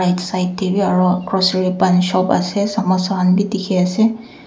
side tey bi aro grocery pan shop ase samosa khan bi dikhiase.